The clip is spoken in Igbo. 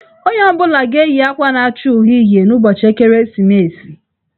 Onye ọ bụla ga-eyi akwa na-acha uhie uhie n'ụbọchị ekeresimesi.